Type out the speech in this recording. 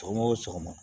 Sɔgɔma o sɔgɔma